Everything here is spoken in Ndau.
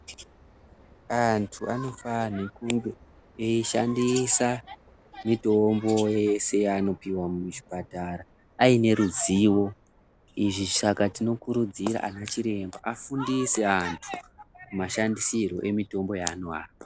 Antu anofanhe kunge eishandisa mitombo yese yaanopihwa muchipatara aine ruzivo, izvi saka tinokurudzira ana chiremba afundise antu mashandisirwe emitombo yaanoapa.